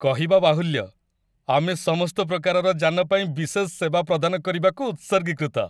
କହିବା ବାହୁଲ୍ୟ, ଆମେ ସମସ୍ତ ପ୍ରକାରର ଯାନ ପାଇଁ ବିଶେଷ ସେବା ପ୍ରଦାନ କରିବାକୁ ଉତ୍ସର୍ଗୀକୃତ।